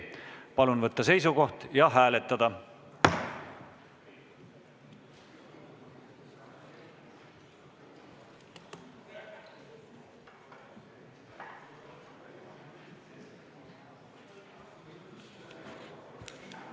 Palun võtta seisukoht ja hääletada!